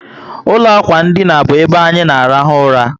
Ụlọ ákwà ndina bu ebe anyị na arahu ụra